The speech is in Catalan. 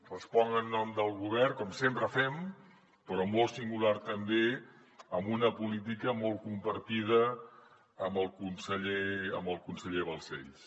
responc en nom del govern com sempre fem però molt singular també amb una política molt compartida amb el conseller balcells